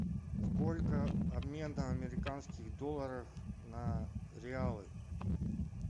сколько обмен американских долларов на реалы